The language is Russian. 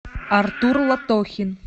артур лотохин